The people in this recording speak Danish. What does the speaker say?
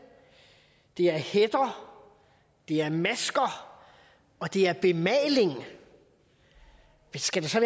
det er hætter det er masker og det er bemaling skal der så